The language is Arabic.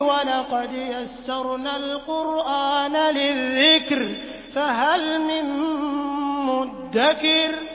وَلَقَدْ يَسَّرْنَا الْقُرْآنَ لِلذِّكْرِ فَهَلْ مِن مُّدَّكِرٍ